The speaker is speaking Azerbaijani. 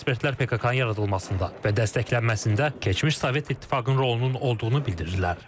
Bir sıra ekspertlər PKK-nın yaradılmasında və dəstəklənməsində keçmiş Sovet İttifaqının rolunun olduğunu bildirirlər.